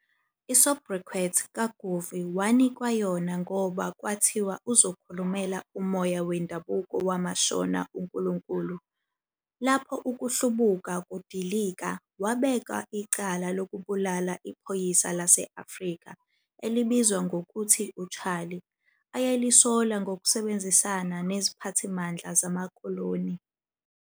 I-soubriquet "Kaguvi" wanikwa yona ngoba kwathiwa uzokhulumela umoya wendabuko wamaShona uNkulunkulu. Lapho ukuhlubuka kudilika, wabekwa icala lokubulala iphoyisa lase-Afrika elibizwa ngokuthi 'uCharlie', ayelisola ngokusebenzisana neziphathimandla zamakoloni.